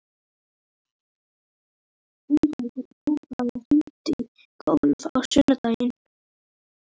Ingveldur, bókaðu hring í golf á sunnudaginn.